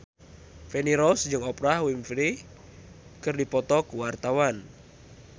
Feni Rose jeung Oprah Winfrey keur dipoto ku wartawan